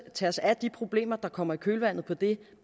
at tage os af de problemer der kommer i kølvandet på det